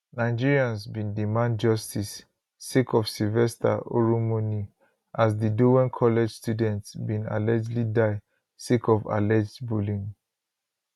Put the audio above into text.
nigerians bin demand justice sake ofsylvester oromoni as di dowen collegestudent bin allegedly die sake of alleged bullying